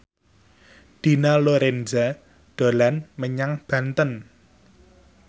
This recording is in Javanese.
Dina Lorenza dolan menyang Banten